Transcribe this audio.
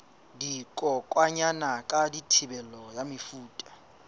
dikokwanyana ka thibelo ya mefuta